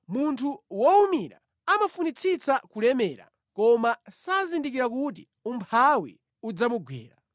Munthu wowumira amafunitsitsa kulemera koma sazindikira kuti umphawi udzamugwera.